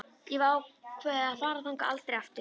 Ég hef ákveðið að fara þangað aldrei aftur.